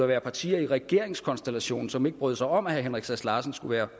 være partier i regeringskonstellationen som ikke brød sig om at herre henrik sass larsen skulle være